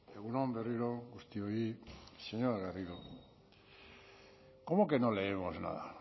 egun on berriro guztioi señora garrido cómo que no leemos nada